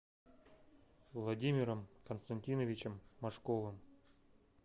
владимиром константиновичем машковым